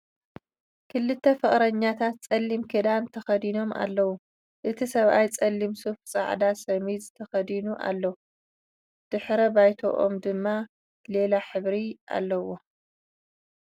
ክልተ ፍቅረኛታት ፀሊም ክዳን ተከዲኖም ኣለዉ ። እቲ ሰብኣይ ፀሊም ሱፍ ን ፃዕዳ ሸሚዝ ተከዲኑ ኣሎ ። ድሕረ ባይትኦም ድም ሊላ ሕብሪ ኣለዎ ።